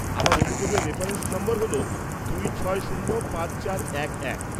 আমার অভিযোগের রেফারেন্স নম্বর হল দুই ছয় শূন্য পাঁচ চার এক এক।